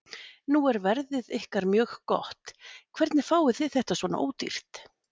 Nú er verðið ykkar mjög gott, hvernig fáið þið þetta svona ódýrt?